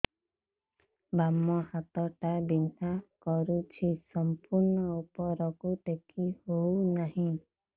ବାମ ହାତ ଟା ବିନ୍ଧା କରୁଛି ସମ୍ପୂର୍ଣ ଉପରକୁ ଟେକି ହୋଉନାହିଁ